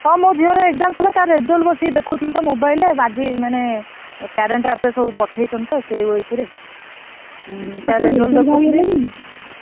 ହଁ ମୋ ଝିଅର exam ସରିଲା ତା result ବସି ଦେଖୁଥିଲି ତ mobile ରେ ଆଜି ମାନେ ।